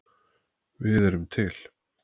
Við erum til.